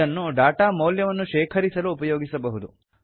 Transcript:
ಇದನ್ನು ಡಾಟಾ ಮೌಲ್ಯವನ್ನು ಶೇಖರಿಸಲು ಉಪಯೋಗಿಸಬಹುದು